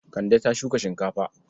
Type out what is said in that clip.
Kande ta shuka shinkafa.